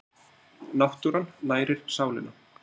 Náttúran nærir sálina.